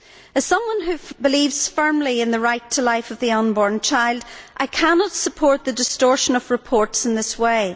As someone who believes firmly in the right to life of the unborn child, I cannot support the distortion of reports in this way.